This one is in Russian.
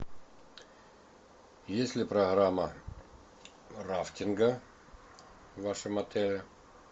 есть ли программа рафтинга в вашем отеле